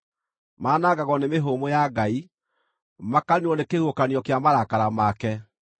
Manangagwo nĩ mĩhũmũ ya Ngai; makaniinwo nĩ kĩhuhũkanio kĩa marakara make.